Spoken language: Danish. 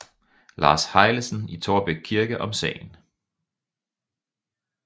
Lars Heilesen i Taarbæk Kirke om sagen